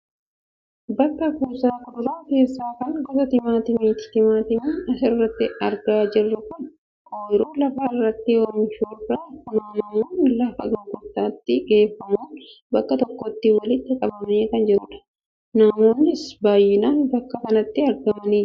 bakka kuusaa kuduraa keessaa kan gosa timaatimaati. timaatimiin asirratti argaa jirru kun ooyiruu lafa irratti oomishamurraa funaannamuun lafa gurgurtaatti geeffamuun bakka tokkotti walitti qabamee kan jirudha. namoonnis baayyinaan bakka kanatti argamanii jiru.